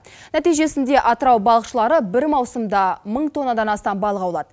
нәтижесенде атырау балықшылары бір мауысымда мың тоннадан астам балық аулады